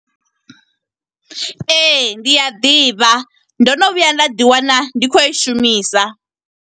Ee, ndi a ḓivha. Ndo no vhuya nda ḓi wana ndi khou i shumisa.